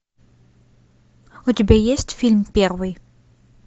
у тебя есть фильм первый